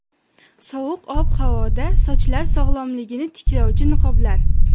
Sovuq ob-havoda sochlar sog‘lomligini tiklovchi niqoblar.